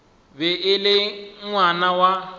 be e le ngwana wa